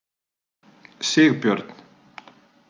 Sigbjörn